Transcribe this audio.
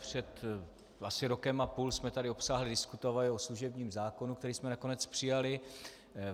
Před asi rokem a půl jsme tady obsáhle diskutovali o služebním zákonu, který jsme nakonec přijali.